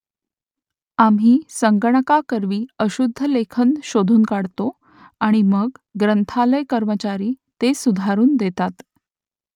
आम्ही संगणकाकरवी अशुद्धलेखन शोधून काढतो आणि मग ग्रंथालय कर्मचारी ते सुधारून देतात